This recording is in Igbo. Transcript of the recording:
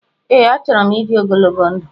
Ee, achọrọ m ịdị ogologo ndụ